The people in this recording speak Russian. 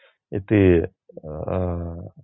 и ты аа